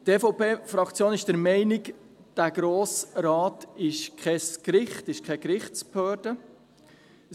Die EVP-Fraktion ist der Meinung, dass der Grosse Rat keine Gerichtsbehörde ist.